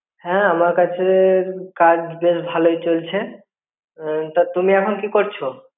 হাঁ আমার কাছে কাজ বেশ ভালোই চলছে. তা তুমি এখন কী করছ.